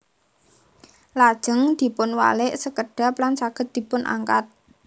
Lajeng dipun walik sekedhap lan saged dipun angkat